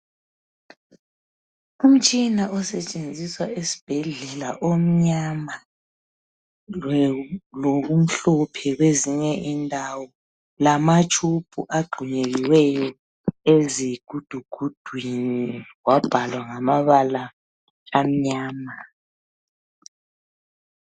Umtshina osetshenziswa esibhedlela omnyama lokumhlophe kwezinye indawo lama tshubhu agxumekiweyo ezigudugudwini kwabhalwa ngamabala amnyama.